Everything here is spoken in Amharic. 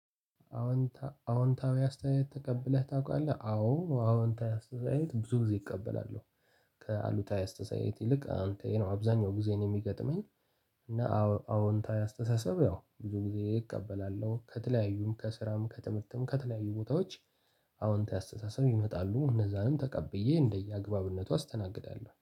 አዎንታዊ አስተያየት ተቀብለህ ታውቃለህ? አዎ አዎንታዊ አስተያየት ብዙ ጊዜ እቀበላለሁ። ከአንተ አስተያይት ይልቅ አንተ ይሄ ነው አብዛኛው ጊዜ እኔ የሚገጥመኝ አዎንታዊ አስተሳሰብ የው ብዙ ጊዜ እቀበላለሁ። ከተለያዩ ከስራም ከትምህርትም ከተለያዩ ቦታዎች አዎንታዊ አስተሳሰብ ይመጣሉ። እነዛንም ተቀብዬ እንደየአግባብነቱ አስተናግዳለሁ።